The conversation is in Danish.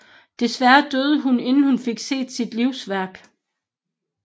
Desværre døde hun inden hun fik set sit livsværk